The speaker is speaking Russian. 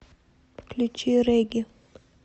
включи регги